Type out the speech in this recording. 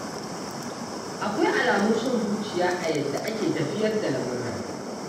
Akwai alamun son zuciya a yadda ake tafiyar da lamurran